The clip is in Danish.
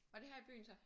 Var det her i byen så?